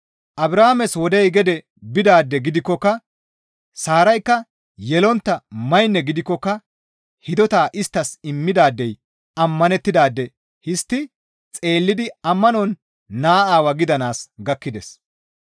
Abrahaames wodey gede bidaade gidikkoka Saaraykka yelontta maynne gidikkoka hidota isttas immidaadey ammanettidaade histti xeellidi ammanon naa aawaa gidanaas gakkides.